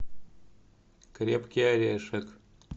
крепкий орешек